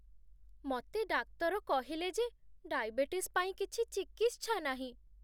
ମତେ ଡାକ୍ତର କହିଲେ ଯେ ଡାଇବେଟିସ୍ ପାଇଁ କିଛି ଚିକିତ୍ସା ନାହିଁ ।